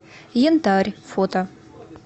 янтарь фото